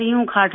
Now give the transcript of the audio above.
हूँ खाट में